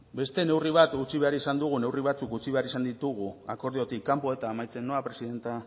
beste neurri batzuk utzi behar izan ditugu akordiotik kanpo eta amaitzen noa presidente